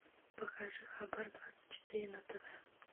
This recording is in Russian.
покажи хабар двадцать четыре на тв